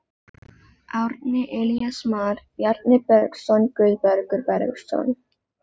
Árni, Elías Mar, Bjarni Bergsson, Guðbergur Bergsson.